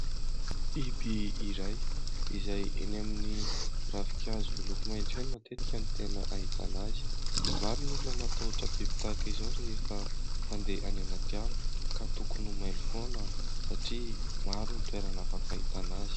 Biby iray izay eny amin'ny ravinkazo miloko maitso eny matetika no tena ahitana azy. Maro ny olona no matahotra biby tahaka izao rehefa mandeha any anaty ala ka tokony ho mailo foana satria maro ny toerana afaka ahitana azy.